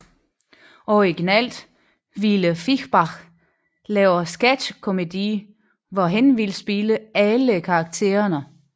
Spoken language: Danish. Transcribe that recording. Originalt ville Fischbach lave Sketchkomedie hvor han ville spille alle karaktererne